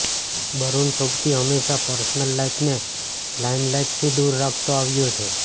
બરુન સોબતી હંમેશા પર્સનલ લાઈફને લાઈમલાઈટથી દૂર રાખતો આવ્યો છે